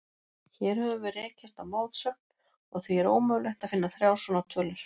Hér höfum við rekist á mótsögn, og því er ómögulegt að finna þrjár svona tölur.